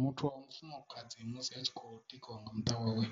Muthu wa mufumakadzi musi a tshi kho tikiwa nga muṱa wawe